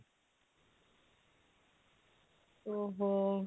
ଓଃ ହୋ